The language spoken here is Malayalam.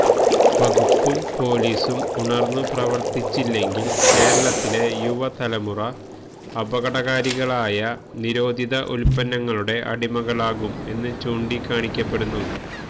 വകുപ്പും പോലീസും ഉണര്ന്നു പ്രവത്തിച്ചില്ലെങ്കില് കേരളത്തിലെ യുവതലമുറ അപകടകാരികളായ നിരോധിത ഉത്പന്നങ്ങളുടെ അടിമകളാകും എന്നും ചൂണ്ടിക്കാണിക്കപ്പെടുന്നു